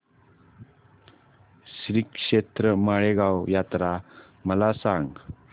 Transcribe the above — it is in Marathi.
श्रीक्षेत्र माळेगाव यात्रा मला सांग